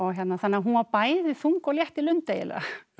þannig að hún var bæði þung og létt í lund eiginlega